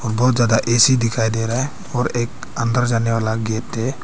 बहुत ज्यादा ऐसी दिखाई दे रहा है और एक अंदर जाने वाला गेट है।